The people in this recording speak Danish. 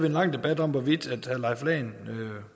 en lang debat om hvorvidt herre